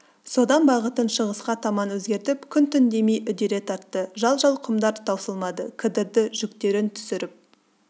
содан бағытын шығысқа таман өзгертіп күн-түн демей үдере тартты жал-жал құмдар таусылмады кідірді жүктерін түсіріп